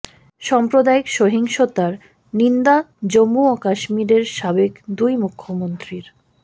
সাম্প্রদায়িক সহিংসতার নিন্দা জম্মু ও কাশ্মিরের সাবেক দুই মুখ্যমন্ত্রীর